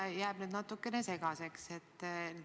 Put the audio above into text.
Mulle jääb asi natukene segaseks.